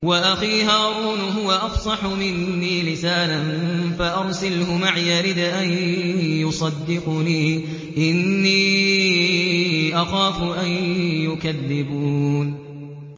وَأَخِي هَارُونُ هُوَ أَفْصَحُ مِنِّي لِسَانًا فَأَرْسِلْهُ مَعِيَ رِدْءًا يُصَدِّقُنِي ۖ إِنِّي أَخَافُ أَن يُكَذِّبُونِ